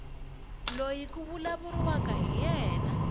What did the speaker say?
loyi ku vulavuriwaka hi yena